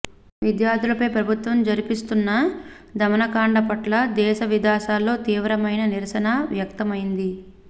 విద్యార్ధులపై ప్రభుత్వం జరిపిస్తున్న దమనకాండ పట్ల దేశ విదేశాల్లో తీవ్రమైన నిరసర వ్యక్తమైంది